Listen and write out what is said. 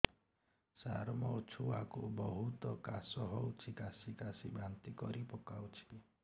ସାର ମୋ ଛୁଆ କୁ ବହୁତ କାଶ ହଉଛି କାସି କାସି ବାନ୍ତି କରି ପକାଉଛି